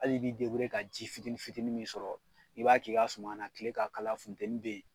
Ali b'i deburuye ka ji fitini fitini min sɔrɔ i b'a k'i ka suman na kile ka kalan futɛni be yen